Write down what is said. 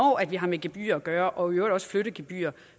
vi har med gebyrer at gøre og i øvrigt også flyttegebyrer